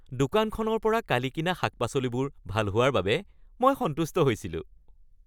দোকানখনৰ পৰা কালি কিনা শাক-পাচলিবোৰ ভাল হোৱাৰ বাবে মই সন্তুষ্ট হৈছিলোঁ।